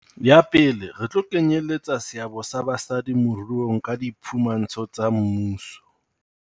Ya pele, re tlo kenyeletsa seabo sa basadi moruong ka diphumantsho tsa mmuso.